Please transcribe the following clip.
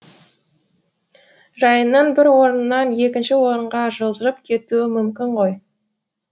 жайынның бір орыннан екінші орынға жылжып кетуі мүмкін ғой